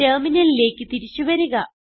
ടെർമിനലിലേക്ക് തിരിച്ചു വരിക